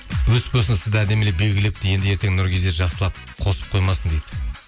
сізді әдемілеп белгілепті енді ертең жақсылап қосып қоймасын дейді